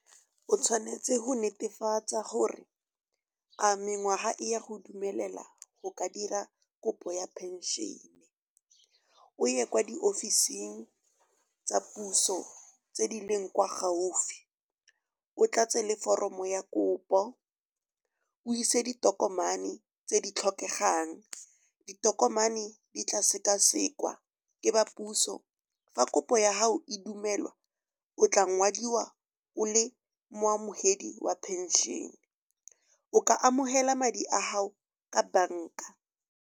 O tshwanetse go netefatsa gore a mengwaga e ya go dumelela go ka dira kopo ya phenšene. O ye kwa diofising tsa puso tse di leng kwa gaufi, o tlatse le foromo ya kopo o ise ditokomane tse di tlhokegang. Ditokomane di tla sekasekwa ke ba puso. Fa kopo ya gago e dumelwa o tla ngwadiwa o le moamogedi wa phenšene, o ka amogela madi a gago ka banka.